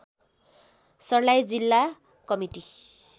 सर्लाही जिल्ला कमिटी